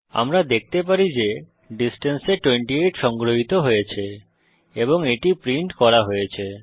আমরা দেখতে পারি যে ডিসট্যান্স এ 28 সংগ্রহিত হয়েছে এবং এটি প্রিন্ট করা হয়েছে